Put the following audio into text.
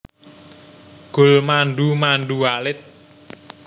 Gulmandu mandu alit